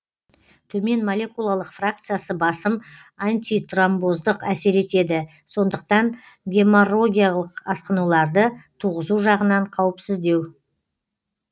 төмен молекулалық фракциясы басым антитромбоздық әсер етеді сондықтан геморрогиялық асқынуларды туғызу жағынан қауіпсіздеу